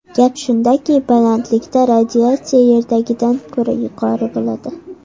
Gap shundaki, balandlikda radiatsiya Yerdagidan ko‘ra yuqori bo‘ladi.